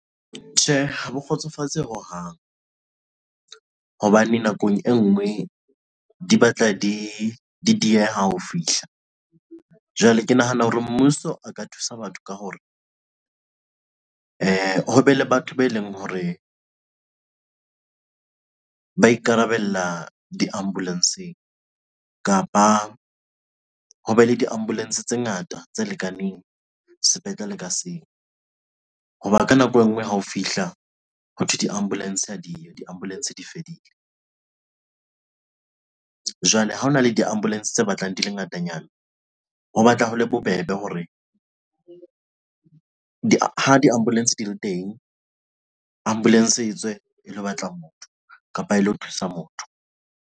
Tjhe, ha bo kgotsofatse hohang hobane nakong e ngwe di batla dieha ho fihla, jwale ke nahana hore mmuso a ka thusa batho ka hore ho be le batho be leng hore ba ikarabella diambuletsheng kapa ho be le diambulentshe tse ngata tse lekaneng sepetlele ka seng. ka nako engwe ha o fihla hothwe diambulentshe ha diambulentshe di fedile, jwale ha ho na le diambulentshe tse batlang di le ngatanyana ho batla ho le bobebe hore diambulentshe di le teng ambulentshe etswe e lo batla motho kapa e lo thusa motho.